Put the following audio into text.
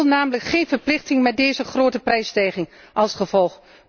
Die wil namelijk geen verplichting met deze grote prijsstijging als gevolg.